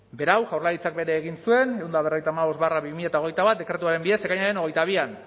berau jaurlaritzak bere egin zuen ehun eta berrogeita hamabost barra bi mila hogeita bat dekretuaren bidez ekainaren hogeita bian